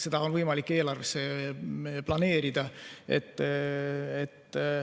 Seda on võimalik eelarvesse planeerida.